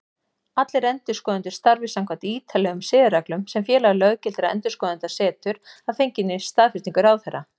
Allir endurskoðendur starfi samkvæmt ítarlegum siðareglum sem Félag löggiltra endurskoðenda setur, að fenginni staðfestingu ráðherra.